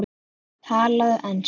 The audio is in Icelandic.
Talaðu ensku!